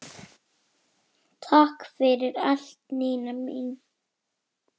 Takk fyrir allt, Nína mín.